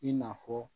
I n'a fɔ